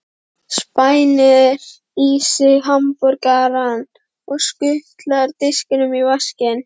Spænir í sig hamborgarann og skutlar diskinum í vaskinn.